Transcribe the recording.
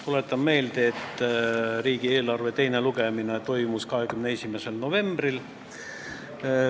Tuletan meelde, et riigieelarve eelnõu teine lugemine toimus 21. novembril.